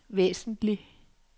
væsentlig